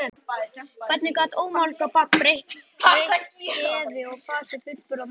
Hvernig gat ómálga barn breytt geði og fasi fullburða manna?